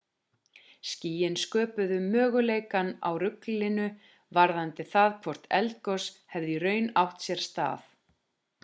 skýin sköpuðu möguleikann á ruglingi varðandi það hvort eldgos hefði í raun átt sér stað